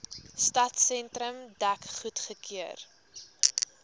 stadsentrum dek goedgekeur